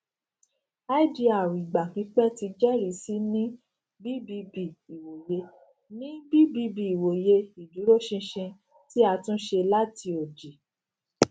idr igba pipẹ ti jẹrisi ni bbb iwoye ni bbb iwoye iduroṣinṣin ti a tunṣe lati odi